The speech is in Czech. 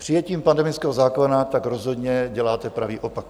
Přijetím pandemického zákona tak rozhodně děláte pravý opak.